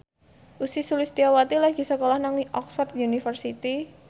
Ussy Sulistyawati lagi sekolah nang Oxford university